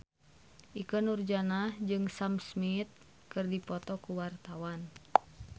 Ikke Nurjanah jeung Sam Smith keur dipoto ku wartawan